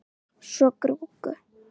Svo gúrku.